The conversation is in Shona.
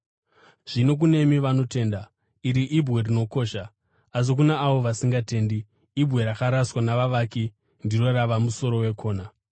Zvino kunemi vanotenda, iri ibwe rinokosha. Asi kuna avo vasingatendi, “Ibwe rakaraswa navavaki ndiro rava musoro wekona,”